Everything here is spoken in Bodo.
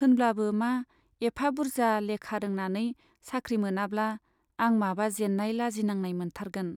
होनब्लाबो मा, एफा बुर्जा लेखा रोंनानै साख्रि मोनाब्ला आं माबा जेन्नाय, लाजिनांनाय मोनथारगोन।